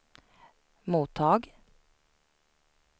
mottag